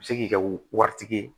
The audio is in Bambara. U bɛ se k'i ka wari tigɛ